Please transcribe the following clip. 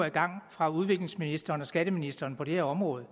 i gang fra udviklingsministeren og skatteministeren på det her område